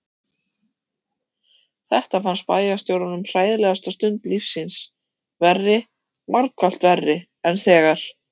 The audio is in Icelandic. Þetta fannst bæjarstjóranum hræðilegasta stund lífs síns, verri, margfalt verri en þegar